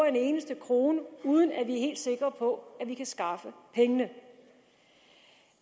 en eneste krone uden at vi er helt sikre på at vi kan skaffe pengene